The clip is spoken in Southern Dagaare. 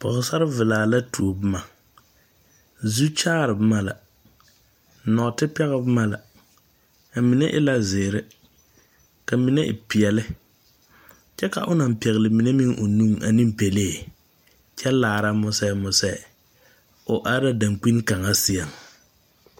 Pɔgsarre velaa la tou buma zukyaare buma la nuote peg buma la a mene e la ziiri ka mene e peɛle kye ka ɔ nang pegli mene meng ɔ nung ane pelee kye laara muse muse ɔ arẽ la dankpini kanga seɛ .